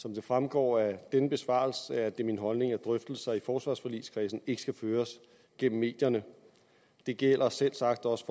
som det fremgår af denne besvarelse er det min holdning at drøftelser i forsvarsforligskredsen ikke skal føres gennem medierne det gælder selvsagt også